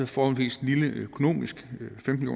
forholdsvis lille økonomisk femten